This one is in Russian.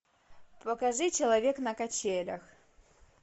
покажи человек на качелях